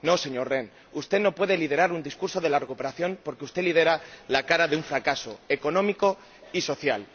No, señor Rehn, usted no puede liderar un discurso de la recuperación porque usted lidera la cara de un fracaso económico y social.